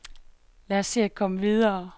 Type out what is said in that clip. Lad os se at komme videre.